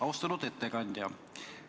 Austatud ettekandja!